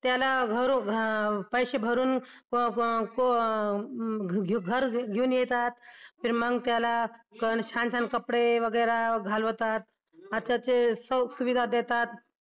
त्याला घारू पैसे भरून घर येऊन येतात मग त्याला छान छान कपडे वगेरा घालतात अच्छा सुविधा देतात.